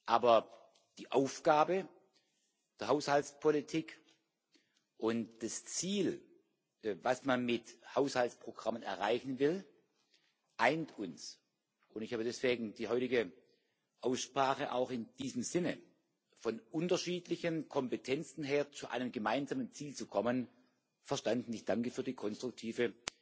Aber die Aufgabe der Haushaltspolitik und das Ziel, das man mit Haushaltsprogrammen erreichen will, eint uns. Ich habe deswegen die heutige Aussprache auch in diesem Sinne, von unterschiedlichen Kompetenzen her zu einem gemeinsamen Ziel zu kommen, verstanden. Ich danke für die konstruktive